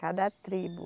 Cada tribo.